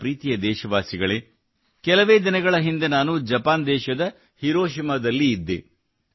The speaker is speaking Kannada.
ನನ್ನ ಪ್ರೀತಿಯ ದೇಶವಾಸಿಗಳೇ ಕೆಲವೇ ದಿನಗಳ ಹಿಂದೆ ನಾನು ಜಪಾನ್ ದೇಶದ ಹಿರೋಷಿಮಾದಲ್ಲಿ ಇದ್ದೆ